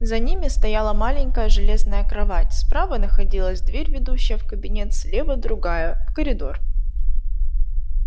за ними стояла маленькая железная кровать справа находилась дверь ведущая в кабинет слева другая в коридор